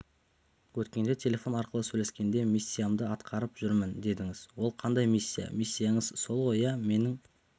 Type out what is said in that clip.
өткенде телефон арқылы сөйлескенде миссиямды атқарып жүрмін дедіңіз ол қандай миссия миссияңыз сол ғой иә менің